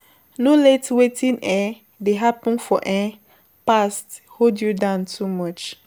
No let wetin don happen for past hold you down too much